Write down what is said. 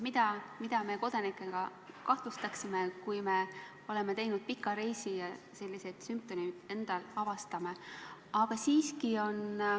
Ja mida me kodanikena kahtlustaksime, kui oleme käinud pikal reisil ja avastame endal sellised sümptomid?